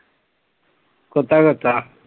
ਕੁੱਤਾ ਕਾਤਾ।